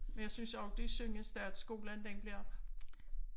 Men jeg synes også det er synd at Statsskolen den bliver